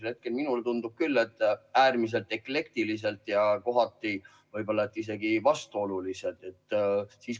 Praegu minule tundub küll, et need on äärmiselt eklektilised ja kohati võib-olla isegi vastuolulised.